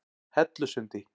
Hellusundi